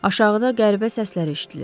Aşağıda qəribə səslər eşidilir.